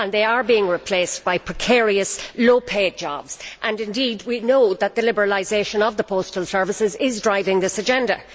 They are being replaced by precarious low paid jobs and we know that the liberalisation of postal services is driving this agenda.